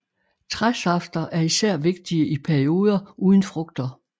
Træsafter er især vigtige i pedioder uden frugter